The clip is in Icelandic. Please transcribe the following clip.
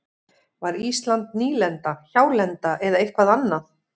Var Ísland nýlenda, hjálenda eða eitthvað annað?